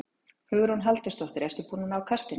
Hugrún Halldórsdóttir: Ertu búinn að ná kastinu?